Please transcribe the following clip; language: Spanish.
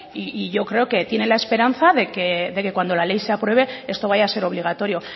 y yo creo que tiene la esperanza que cuando la ley se apruebe esto vaya a ser obligatorio